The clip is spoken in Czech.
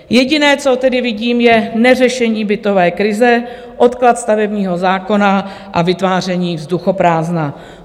Jediné, co tedy vidím, je neřešení bytové krize, odklad stavebního zákona a vytváření vzduchoprázdna.